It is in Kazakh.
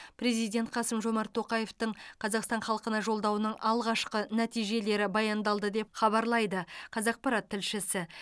президент қасым жомарт тоқаевтың қазақстан халқына жолдауының алғашқы нәтижелері баяндалды деп хабарлайды қазақпарат тілшісі